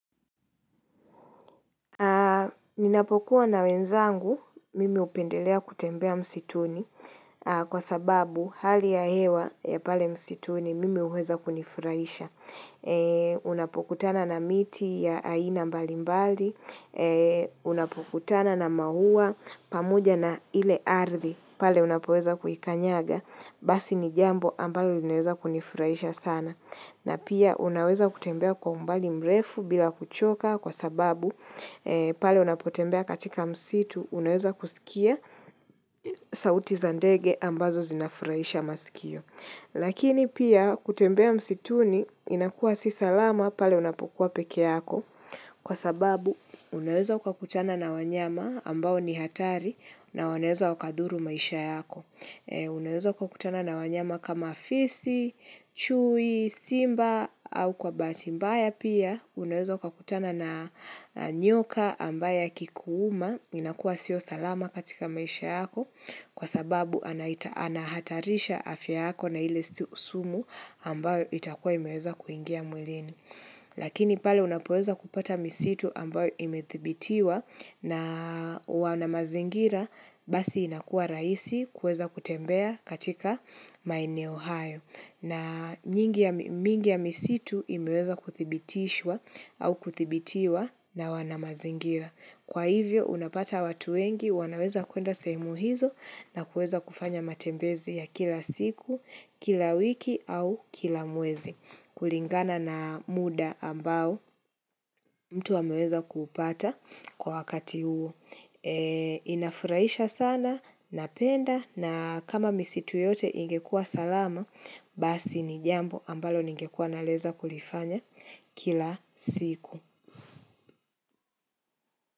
Ninapokuwa na wenzangu mimi hupendelea kutembea msituni kwa sababu hali ya hewa ya pale msituni mimi huweza kunifurahisha. Unapokutana na miti ya aina mbali mbali, unapokutana na maua pamoja na ile ardhi pale unapoweza kuikanyaga basi ni jambo ambalo linaweza kunifurahisha sana. Na pia unaweza kutembea kwa umbali mrefu bila kuchoka kwa sababu pale unapotembea katika msitu unaweza kusikia sauti zandege ambazo zinafurahisha masikio. Lakini pia kutembea msituni inakuwa si salama pale unapokuwa pekee yako kwa sababu unaweza ukakutana na wanyama ambao ni hatari na wanaweza wakadhuru maisha yako. Unaweza kuwa kutana na wanyama kama fisi, chui, simba au kwa bahati mbaya pia Unaweza ukutana na nyoka ambaye akikuuma inakua sio salama katika maisha yako Kwa sababu anahatarisha afya yako na ile sumu ambayo itakua imeweza kuingia mwilini Lakini pale unapoweza kupata misitu ambayo imedhibitiwa na wanamazingira Basi inakuwa rahisi kuweza kutembea katika maeneo hayo na mingi ya misitu imeweza kudhibitishwa au kudhibitiwa na wana mazingira Kwa hivyo unapata watu wengi wanaweza kuenda sehemu hizo na kuweza kufanya matembezi ya kila siku, kila wiki au kila mwezi kulingana na muda ambao mtu ameweza kupata kwa wakati huo Inafurahisha sana, napenda na kama misitu yote ingekuwa salama Basi ni jambo ambalo ningekuwa naleza kulifanya kila siku.